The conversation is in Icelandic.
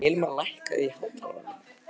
Hilmar, lækkaðu í hátalaranum.